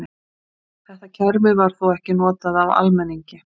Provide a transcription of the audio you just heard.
Þetta kerfi var þó ekki notað af almenningi.